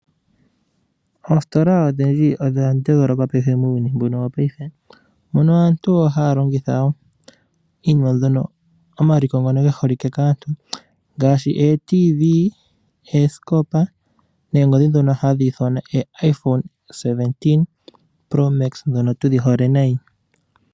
Oositola odha putuka muuyuni wopaife, mono aantu yopaife ha ya longitha omaliko ngono ge holike kaantu, ngaashi ooradio yomuzizimba, oosikopa, noongodhi dhono ha dhi ithanwa oo iPhone17 promax ndhono tu dhi hole nayi.